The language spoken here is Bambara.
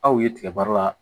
Aw ye tigɛba la